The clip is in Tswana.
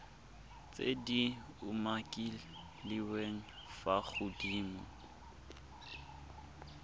tse di umakiliweng fa godimo